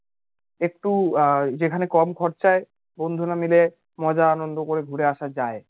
একটু যেখানে কম খরচায় বন্ধুরা মিলে মজা আনন্দ করে ঘুরে আসা যায়